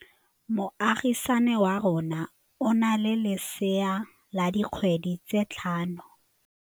Moagisane wa rona o na le lesea la dikgwedi tse tlhano.